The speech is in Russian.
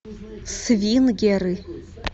свингеры